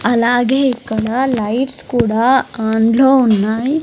అలాగే ఇక్కడ లైట్స్ కూడా ఆన్ లో ఉన్నాయ్.